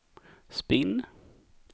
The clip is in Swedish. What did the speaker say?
spinn